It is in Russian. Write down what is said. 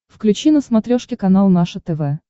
включи на смотрешке канал наше тв